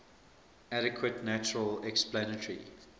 adequate natural explanatory